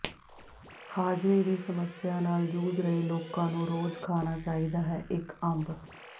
ਹਾਜ਼ਮੇ ਦੀ ਸਮੱਸਿਆ ਨਾਲ ਜੂਝ ਰਹੇ ਲੋਕਾਂ ਨੂੰ ਰੋਜ਼ ਖਾਣਾ ਚਾਹੀਦਾ ਹੈ ਇੱਕ ਅੰਬ